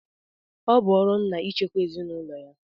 Ọ bụ ọrụ ńnà ichekwa ezinụlọ ya.